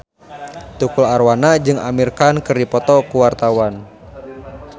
Tukul Arwana jeung Amir Khan keur dipoto ku wartawan